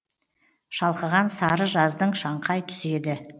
шалқыған сары жаздың шаңқай түсі еді